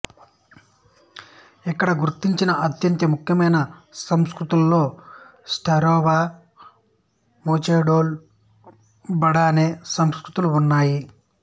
ఇక్కడ గుర్తించిన అత్యంత ముఖ్యమైన సంస్కృతులలో స్టార్సెవో వూచెడోల్ బాడెన్ సంస్కృతులు ఉన్నాయి